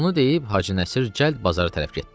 Bunu deyib Hacı Nəsir cəld bazara tərəf getdi.